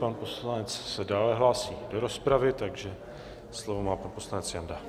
Pan poslanec se dále hlásí do rozpravy, takže slovo má pan poslanec Janda.